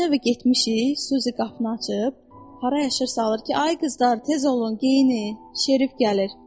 Keçən həftə getmişik, Suzi qapını açıb, hara yaşırsa alır ki, ay qızlar, tez olun geyinin, şerif gəlir.